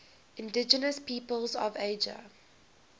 indigenous peoples of asia